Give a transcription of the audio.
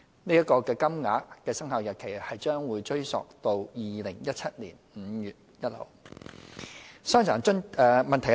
有關金額的生效日期將會追溯至2017年5月1日。